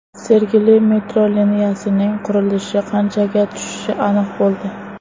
Sergeli metro liniyasining qurilishi qanchaga tushishi aniq bo‘ldi.